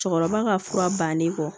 Cɛkɔrɔba ka fura bannen kɔ